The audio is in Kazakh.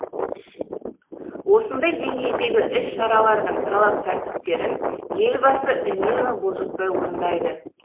осындай деңгейдегі іс шаралардың талап тәртіптерін елбасы үнемі бұлжытпай орындайды